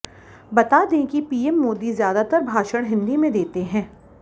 बता दें कि पीएम मोदी ज्यादातर भाषण हिंदी में देते हैं